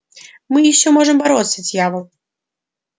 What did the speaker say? мы ещё можем бороться дьявол